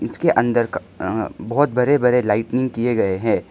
इसके अंदर का अह बहुत बड़े बड़े लाइटनिंग किए गए हैं।